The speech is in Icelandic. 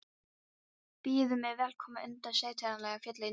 Byðu mig velkomna undir sitt tignarlega fjall í norðrinu.